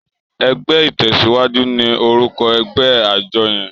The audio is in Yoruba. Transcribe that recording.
Ègbè itèsíwàjú ni órúkò ègbè ájò yèn